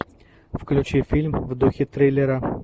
включи фильм в духе триллера